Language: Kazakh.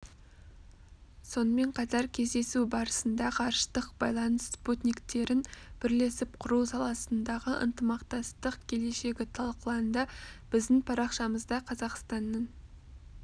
сонымен қатар кездесу барысында ғарыштық байланыс спутниктерін бірлесіп құру саласындағы ынтымақтастық келешегі талқыланды біздің парақшамызда қазақстанның